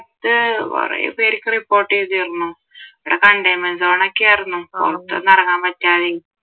കുറെ പേർക്ക് report ചെയ്തിരുന്നു ഇവിടെ containment zone ഒക്കെ ആരുന്നു പുറത്തൊന്നും ഇറങ്ങാൻ പറ്റാതെയും